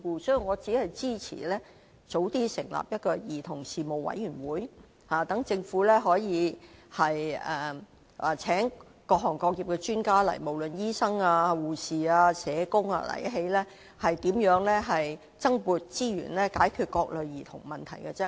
所以，我只支持及早成立一個兒童事務委員會，讓政府可以邀請各行各業的專家來立法會，無論是醫生、護士或社工，研究如何增撥資源，解決各類兒童問題。